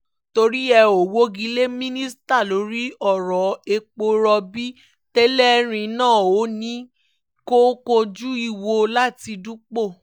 torí ẹ̀ ò wọ́gi lé mínísítà lórí ọ̀rọ̀ epo rọ̀bì tẹ́lẹ̀rí náà ò ní kó kúnjú ìwọ̀n láti dúpọ̀